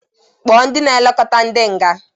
Kpọọ ndị na-elekota ndị nga!